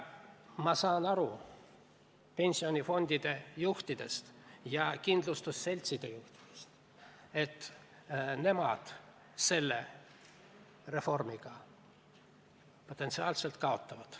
Ma saan aru pensionifondide juhtidest ja kindlustusseltside juhtidest, et nemad selle reformiga potentsiaalselt kaotavad.